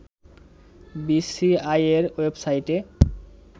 বিসিসিআইয়ের website